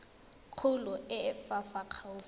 kgolo e e fa gaufi